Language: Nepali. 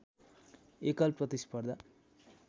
एकल प्रतिस्पर्धा